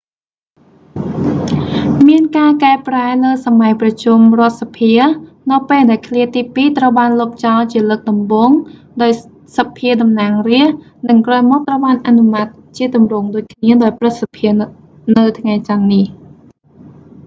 មានការកែប្រែលើសម័យប្រជុំរដ្ឋសភា នៅពេលដែលឃ្លាទីពីរត្រូវបានលុបចោលជាលើកដំបូងដោយសភាតំណាងរាស្រ្ត និងក្រោយមកត្រូវបានអនុម័តជាទម្រង់ដូចគ្នាដោយព្រឹទ្ធសភានៅថ្ងៃចន្ទនេះ